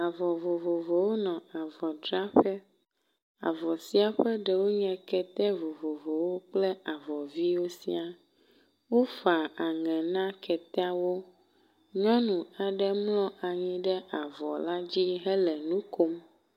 Avɔ vovovowo nɔ avɔdzraƒe, avɔ sia ƒe ɖewo nye kɛtɛ vovovowo kple avɔ viwo sia. Wofa aŋe na kɛtɛawo. Nyɔnu aɖe mlɔ anyi ɖe avɔ la dzi hele nu kom.